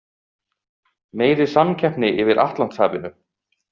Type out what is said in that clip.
Meiri samkeppni yfir Atlantshafinu